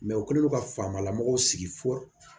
u kɛlen don ka faamalamɔgɔw sigi fɔ